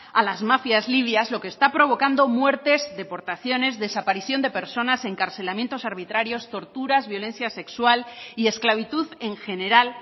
a las mafias libias lo que está provocando muertes deportaciones desaparición de personas encarcelamientos arbitrarios torturas violencia sexual y esclavitud en general